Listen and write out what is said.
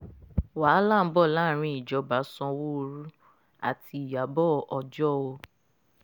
wàhálà ń bọ̀ láàrin ìjọba sanwóoru àti ìyàbọ̀ ọjọ́ o